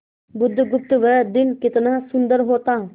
बुधगुप्त वह दिन कितना सुंदर होता